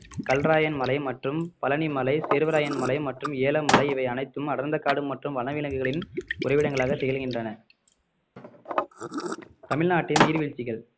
கல்ராயன் மலை மற்றும் பழனி மலை சேர்வராயன் மலை மற்றும் ஏல மலை இவன் அனைத்தும் அடர்ந்த காடு மற்றும் வனவிலங்குகளின் உறைவிடங்களாக திகழ்கின்றன தமிழ்நாட்டின் நீர்வீழ்ச்சிகள்